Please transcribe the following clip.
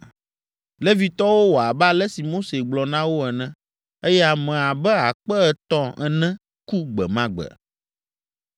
Levitɔwo wɔ abe ale si Mose gblɔ na wo ene, eye ame abe akpe etɔ̃ ene ku gbe ma gbe.